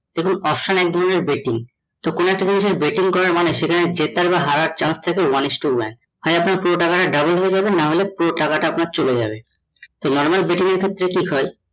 দেখুন option এক ধরণের betting, তো কোনো একটা জিনিস এ betting করার মানে সেটা জেতার বা হারার chance থাকে one is to one হয়ে আপনার পুরো টাকা তা double হয়ে যাবে নাহলে পুরো টাকা টা আপনার চলে যাবে । normal betting এর ক্ষেত্রে কি হয়ে